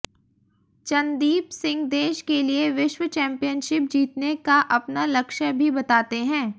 चनदीप सिंह देश के लिए विश्व चैम्पियनशिप जीतने का अपना लक्ष्य भी बताते हैं